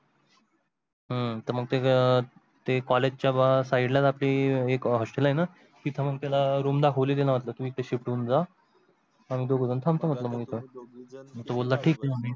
ह त College side ला ते एक Hostel आहे न तीत मग त्याला room दाखवली त्याला मन्तल तू इत shift होऊन जा आम्ही दोघझन थामतो मन्टल मग इत.